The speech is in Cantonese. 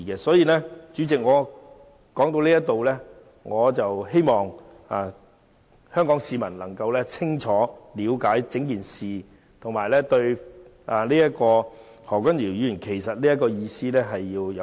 所以，主席，話說至此，我希望香港市民能夠清楚了解整件事，並且了解何君堯議員的意思。